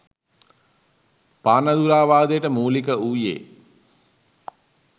පානදුරාවාදයට මූලික වූයේ